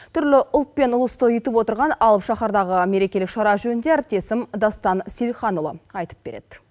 түрлі ұлтпен ұлысты ұйытып отырған алып шахардағы мерекелік шара жөнінде әріптесім дастан сейілханұлы айтып береді